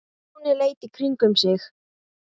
Stjáni leit í kringum sig.